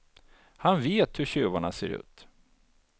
Han vet hur tjuvarna ser ut.